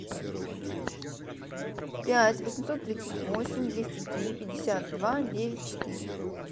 пять восемьсот тридцать восемь двести три пятьдесят два девять четыре